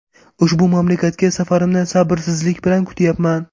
Ushbu mamlakatga safarimni sabrsizlik bilan kutyapman.